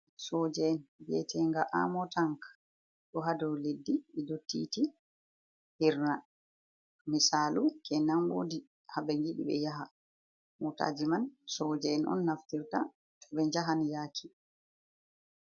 Soja’en biyetenga amo tank ɗo haa dow leddi ɗiɗo titi hirna. Misalu kenan wodi haa ɓe ngiɗi ɓe yaha. Motaji man soja’en on naftirta to ɓe jahan yaki.